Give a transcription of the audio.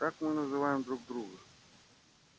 так мы называем друг друга